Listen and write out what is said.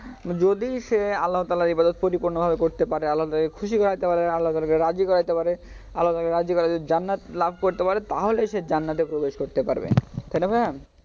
যদি সে আল্লাহ্‌ তালহার ইবাদত পরিপূর্ণভাবে করতে পারে আল্লাহকে খুশি করাইতে পারে আল্লাহ্‌ তালহা কে রাজী করাইতে পারে আল্লাহ্‌ তালহাকে রাজি করাইতে জান্নাত লাভ করতে পারে তাহলেই সে জান্নাতে প্রবেশ করতে পারবে ভাইয়া